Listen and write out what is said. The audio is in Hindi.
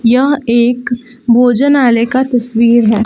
यह एक भोजनालय का तस्वीर है।